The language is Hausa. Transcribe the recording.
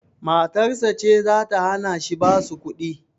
Matarsa ce zata hanashi basu kuɗi?